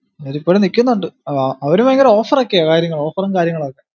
അവരിപ്പോലും നിക്കന്നുണ്ട് അവര് ഭയങ്കര offer ഒക്കെയാ കാര്യങ്ങൾ offer ഉം കാര്യങ്ങളും ഒക്കെ